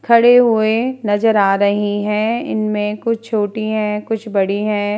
खड़े हुए नजर आ रहे है इनमें कुह छोटी है कुछ बड़ी है ।